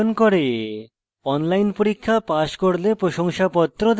online পরীক্ষা pass করলে প্রশংসাপত্র দেয়